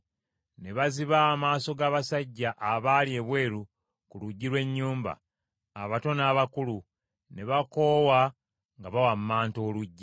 Ne baziba amaaso g’abasajja abaali ebweru ku luggi lw’ennyumba, abato n’abakulu, ne bakoowa nga bawammanta oluggi.